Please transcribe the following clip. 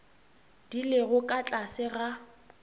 di lego ka tlase ga